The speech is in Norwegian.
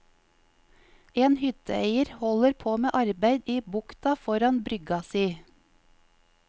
En hytteeier holder på med arbeid i bukta foran brygga si.